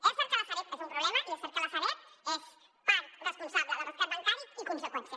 és cert que la sareb és un problema i és cert que la sareb és part responsable del rescat bancari i conseqüència